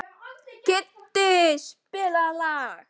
Kiddi, spilaðu lag.